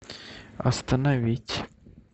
остановить